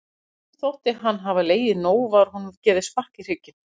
Þegar mönnum þótti hann hafa legið nóg var honum gefið spark í hrygginn.